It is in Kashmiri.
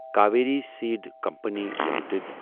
Kaveri seed company limited